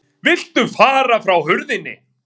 VILTU FARA FRÁ HURÐINNI